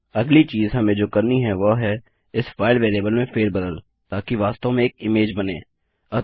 अगली चीज़ हमें जो करनी है वह है इस फाइल वेरिएबल में फेर बदल ताकि वास्तव में एक इमेज बनें